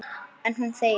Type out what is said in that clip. En hún þegir.